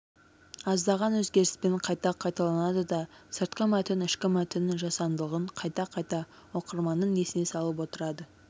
аздаған өзгеріспен қайта қайталанады да сыртқы мәтін ішкі мәтіннің жасандылығын қайта-қайта оқырманның есіне салып отырады